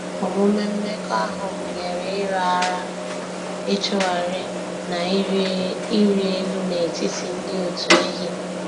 Omume mmekọahụ gụnyere ịra ara, ịchụhari, na ịrị elu n'etiti ndị òtù ehi.